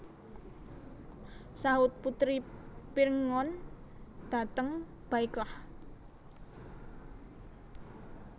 Sahut puteri Pirngon dhateng Baiklah